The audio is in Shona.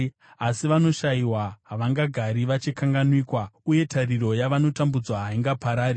Asi vanoshayiwa havangagari vachikanganwikwa, uye tariro yavanotambudzwa haingaparari.